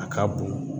A ka bon